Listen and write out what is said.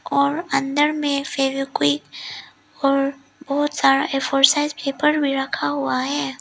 और अंदर में फेवीक्विक और बहोत सारा ए फोर साइज पेपर भी रखा हुआ है।